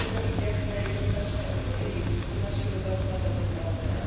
Kdy budete mít jasné jednoznačné odpovědi pro naše dopravce a zaměstnavatele?